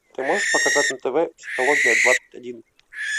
ты можешь показать на тв психология двадцать один